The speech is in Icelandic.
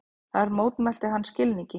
Þar mótmælti hann skilningi